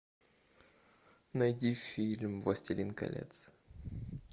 найди фильм властелин колец